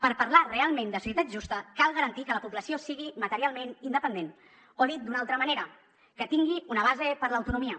per parlar realment de societat justa cal garantir que la població sigui materialment independent o dit d’una altra manera que tingui una base per a l’autonomia